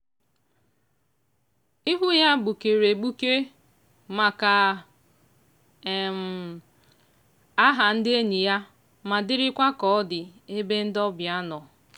ihu ya gbukere egbuke maka um aha ndị enyi ya ma dịrịkwa ka ọ dị ebe ndị obịa nọ.